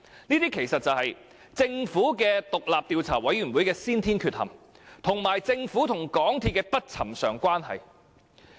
這其實可歸因於政府獨立調查委員會的先天缺陷，以及政府與港鐵公司的不尋常關係。